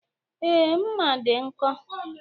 Ee, mma dị nkọ.